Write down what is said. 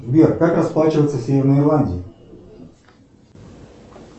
сбер как расплачиваться в северной ирландии